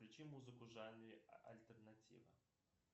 включи музыку в жанре альтернатива